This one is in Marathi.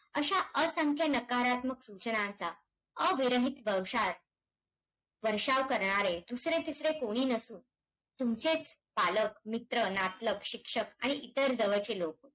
अशा असंख्य नकारात्मक सूचनांचा अविरहित बर्षाव~ वर्षाव करणारे, दुसरे-तिसरे कोणी नसून, तुमचेच पालक, मित्र, नातलग, शिक्षक आणि इतर जवळचे लोक.